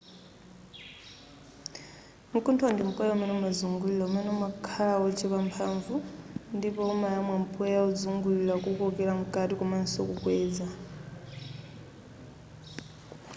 nkuntho ndi mpweya umene umazungulira umene umakhala wochepa mphanvu ndipo umayamwa mpweya ozungulira kuukokela mkati komanso mokweza